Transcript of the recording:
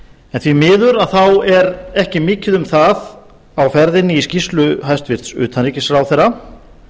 en því miður er ekki mikið um það á ferðinni í skýrslu hæstvirts utanríkisráðherra